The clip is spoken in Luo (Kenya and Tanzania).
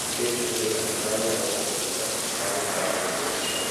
nikech onge ng�at ma nyalo ng�ado bura bang� ka jokomison